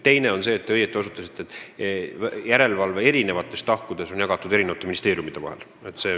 Teiseks, nagu te õigesti ütlesite, järelevalve eri tahud on ministeeriumide vahel jagatud.